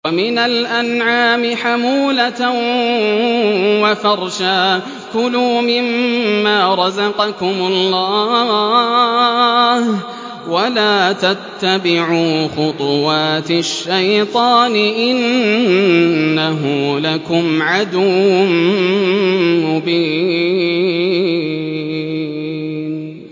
وَمِنَ الْأَنْعَامِ حَمُولَةً وَفَرْشًا ۚ كُلُوا مِمَّا رَزَقَكُمُ اللَّهُ وَلَا تَتَّبِعُوا خُطُوَاتِ الشَّيْطَانِ ۚ إِنَّهُ لَكُمْ عَدُوٌّ مُّبِينٌ